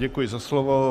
Děkuji za slovo.